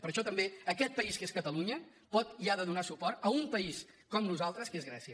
per això també aquest país que és catalunya pot i ha de donar suport a un país com nosaltres que és grècia